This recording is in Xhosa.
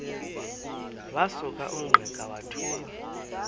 wasuka ungqika wathuma